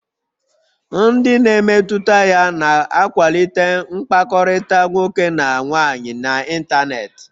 Ndị na-emetụta ya na-akwalite mkpakọrịta nwoke na nwaanyị n'ịntanetị